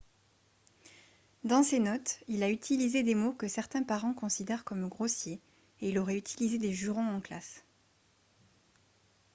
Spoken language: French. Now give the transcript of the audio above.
dans ses notes il a utilisé des mots que certains parents considèrent comme grossiers et il aurait utilisé des jurons en classe